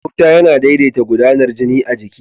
Gauta yana daidata gudanar jini a jiki.